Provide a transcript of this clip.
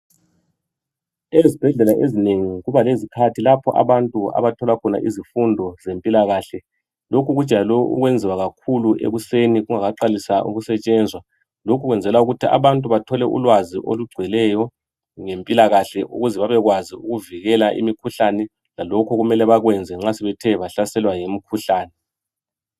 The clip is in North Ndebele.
ezibhedlela ezinengi kuba lezikhathi lapho abantu abathola khona izifundo zempilakahle lokhu kujayelwe ukwenziwa kakhulu ekuseni kungakaqaliswa ukusetshenzwa lokhu kwenzelwa ukuthi abantu abathole ulwazi olugcweleyo ngempilakahle ukuze bebekwazi ukuvikela imikhuhlane lalokhu okumele bakwenze nxa sebethe bahlaselwa yimikhuhlane